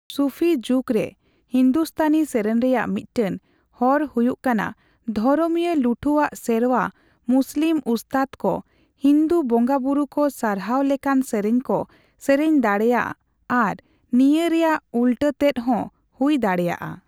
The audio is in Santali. ᱥᱩᱯᱷᱤ ᱡᱩᱜᱽ ᱨᱮ ᱦᱤᱱᱫᱩᱥᱛᱟᱹᱱᱤ ᱥᱮᱨᱮᱧ ᱨᱮᱭᱟᱜ ᱢᱤᱫᱴᱮᱱ ᱦᱚᱨ ᱦᱩᱭᱩᱜ ᱠᱟᱱᱟ ᱫᱷᱚᱨᱚᱢᱤᱭᱟᱹ ᱞᱩᱴᱷᱩᱣᱟᱜ ᱥᱮᱨᱣᱟ ᱢᱩᱥᱞᱤᱢ ᱩᱥᱛᱟᱫ ᱠᱚ ᱦᱤᱱᱫᱩ ᱵᱚᱸᱜᱟ ᱵᱩᱨᱩ ᱠᱚ ᱥᱟᱨᱦᱟᱣᱞᱮᱠᱟᱱ ᱥᱮᱨᱮᱧ ᱠᱚ ᱥᱮᱨᱮᱧ ᱫᱟᱲᱮᱭᱟᱜ ᱟᱨ ᱱᱤᱭᱟᱹ ᱨᱮᱭᱟᱜ ᱩᱞᱴᱟᱹᱛᱮᱫ ᱦᱚᱸ ᱦᱩᱭ ᱫᱟᱲᱮᱭᱟᱜᱼᱟ ᱾